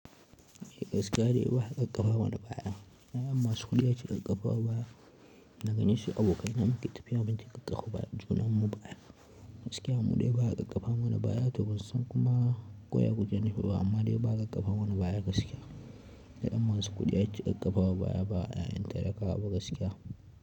Gaskiya dai ba ƙaƙƙafa mana baya. Yayan masu kuɗi ake ƙaƙƙafa wa baya, dagani sai abokai na muke tafiya muke ƙaƙƙafa bayan junan mu baya. Gaskiya mu dai ba ƙaƙƙafa wani baya to ba san kuma koya kuke nufi ba amma dai ba, a ƙaƙƙafa mana baya gaskiya. Ya'yan masu kuɗi ake kakkafawa baya ba ya'yan talakawaba gaskiya.